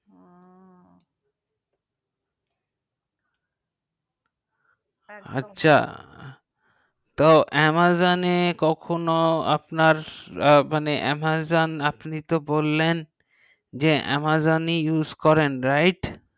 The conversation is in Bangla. একদম আচ্ছা তো amazon এ কখনো আপনার মানে amazon use করেন right